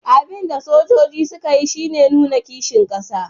Abin da sojojin suka yi shi ne nuna kishin kasa